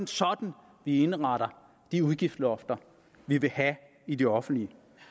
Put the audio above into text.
sådan at vi indretter de udgiftslofter vi vil have i de offentlige